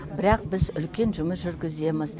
бірақ біз үлкен жүмыс жүргіземіз